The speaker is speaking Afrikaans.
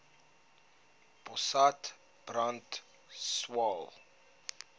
potas brand swael